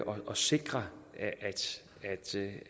og sikre